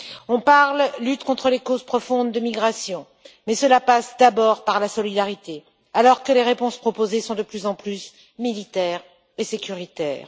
On parle de lutte contre les causes profondes de la migration, mais cela passe d'abord par la solidarité, alors que les réponses proposées sont de plus en plus militaires et sécuritaires.